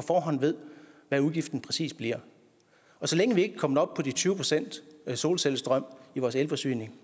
forhånd ved hvad udgiften præcis bliver og så længe vi ikke er kommet op på de tyve procent solcellestrøm i vores elforsyning